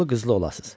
Oğullu qızlı olasız.